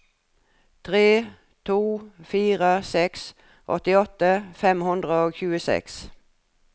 tre to fire seks åttiåtte fem hundre og tjueseks